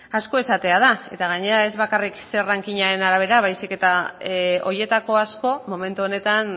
asko esatea da eta gainera ez bakarrik zer rankingaren arabera baizik eta horietako asko momentu honetan